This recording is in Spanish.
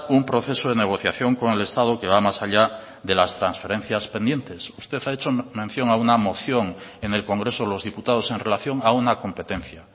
un proceso de negociación con el estado que va más allá de las transferencias pendientes usted ha hecho mención a una moción en el congreso de los diputados en relación a una competencia